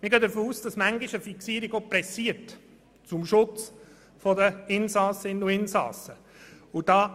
Zu Artikel 35: Wir gehen davon aus, dass zum Schutz einer Insassin oder eines Insassen eine Fixierung bisweilen eilt.